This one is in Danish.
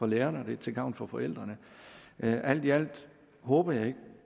lærerne og til gavn for forældrene alt i alt håber jeg ikke